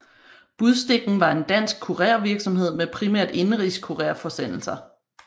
Budstikken var en dansk kurervirksomhed med primært indenrigs kurerforsendelser